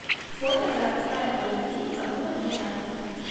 фото городская поликлиника номер двенадцать